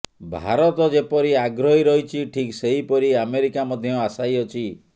ଭାରତ ଯେପରି ଆଗ୍ରହୀ ରହିଛି ଠିକ୍ ସେହିପରି ଆମେରିକା ମଧ୍ୟ ଆଶାୟୀ ଅଛି